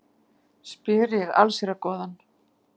spyr ég allsherjargoðann.